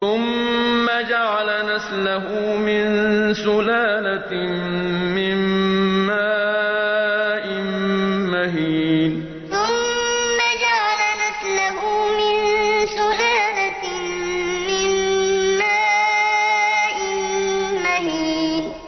ثُمَّ جَعَلَ نَسْلَهُ مِن سُلَالَةٍ مِّن مَّاءٍ مَّهِينٍ ثُمَّ جَعَلَ نَسْلَهُ مِن سُلَالَةٍ مِّن مَّاءٍ مَّهِينٍ